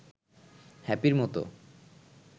হ্যাপির মতো